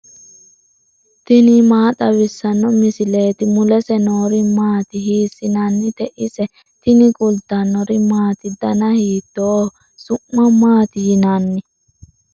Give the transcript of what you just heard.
tini maa xawissanno misileeti ? mulese noori maati ? hiissinannite ise ? tini kultannori maati? danna hiittoho? su'ma maatti yinnanni?